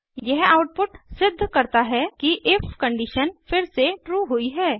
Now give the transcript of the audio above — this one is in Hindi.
यह आउटपुट सिद्ध करता है कि इफ कंडीशन फिर से ट्रू हुई है